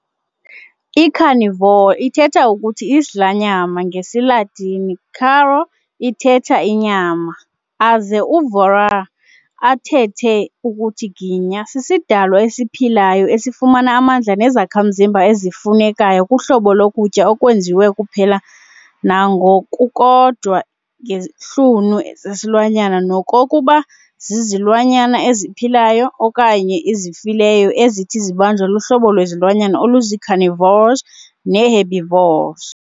I-carnivore ithetha ukuthi 'isidlanyama' ngesi Latini, caro ithetha inyama aze uvorare athethe ukuthi 'ginya sisidalwa esiphilayo esifumana amandla nezakhamzimba ezifunekayo kuhlobo lokutya okwenziwe kuphela nangokukodwa ngeIsihlunu zihlunu zesilwanyana nokokuba zizilwanyana eziphilayo okanye ezifileyo ezithi zibanjwe luhlobo lwezilwanyana oluzii-carnivores nee-herbivores.